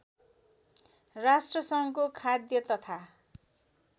राष्ट्रसङ्घको खाद्य तथा